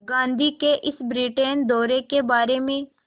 गांधी के इस ब्रिटेन दौरे के बारे में